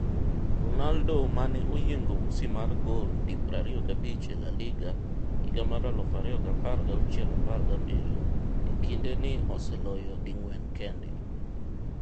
Ronaldo mane oyiengo usi mar gol di 25 e La Liga 2016/17 e kinde ni oseloyo ding'wen kende.